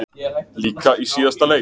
Líka í síðasta leik.